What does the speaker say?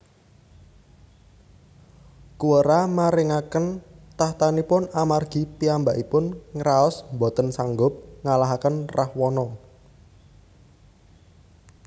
Kuwera maringaken tahtanipun amargi piyambakipun ngraos boten sanggup ngalahaken Rahwana